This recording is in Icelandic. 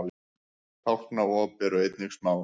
tálknaop eru einnig smá